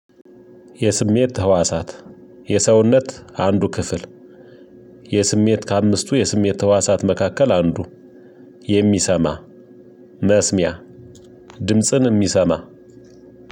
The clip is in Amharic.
የስሜት ህዋሳት የሰውነት አንዱ ክፍል የስሜት ከአምስቱ የስሜት ህዋሳት መካከል አንዱ የሚሰማ መስሚያ ድምጽን የሚሰማ።